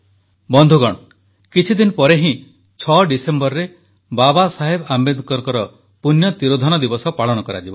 ବନ୍ଧୁଗଣ କିଛିଦିନ ପରେ ହିଁ 6 ଡିସେମ୍ବରରେ ବାବା ସାହେବ ଆମ୍ବେଦକରଙ୍କ ପୂଣ୍ୟ ତିରୋଧାନ ଦିବସ ପାଳନ କରାଯିବ